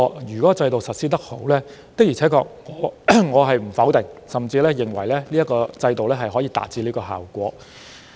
如制度實施情況良好，我不會否定這說法，甚至認為它可以達致預期的效果。